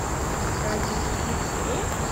ради любви к игре